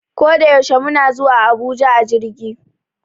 Koda yaushe muna zuwa Abuja a jirgi